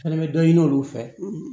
Fɛnɛ bɛ dɔ ɲini olu fɛ